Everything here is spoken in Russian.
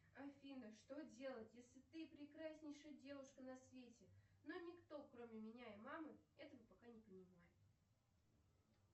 афина что делать если ты прекраснейшая девушка на свете но никто кроме меня и мамы этого пока не понимает